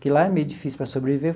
Que lá é meio difícil para sobreviver.